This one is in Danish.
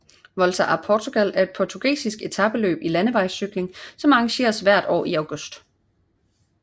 Volta a Portugal er et portugisisk etapeløb i landevejscykling som arrangeres hvert år i august